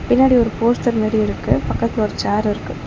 பின்னாடி ஒரு போஸ்டர் மாரி இருக்கு பக்கத்ல ஒரு சேரிருக்கு .